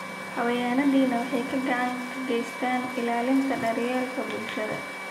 Xayawaanadani waxay gacan ka geystaan ??ilaalinta daryeelka bulshada.